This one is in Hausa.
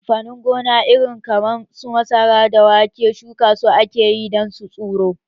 Amfanin gona na iri kaman su masara da wake shuka su ake yi dan su tsiro